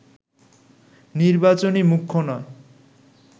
নির্বাচনই মুখ্য নয়